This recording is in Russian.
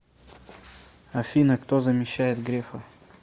афина кто замещает грефа